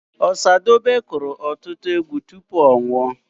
Ọsadebe kụrụ ọtụtụ egwu tupu ọ nwụọ.